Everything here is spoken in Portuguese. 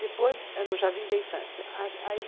Depois, no Jardim da Infância, aí, ai.